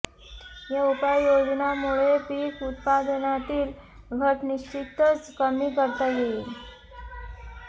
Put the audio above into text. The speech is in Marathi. या उपाययोजनांमुळे पीक उत्पादनातील घट निश्चितच कमी करता येईल